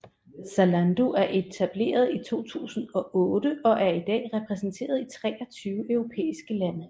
Zalando er etableret i 2008 og er i dag repræsenteret i 23 europæiske lande